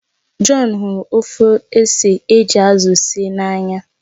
John hụrụ ofe ose eji azụ síé n'anya